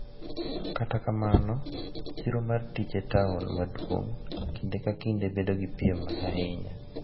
Kata kamano, chiro mar tich e taon maduong’ kinde ka kinde bedo gi piem ahinya,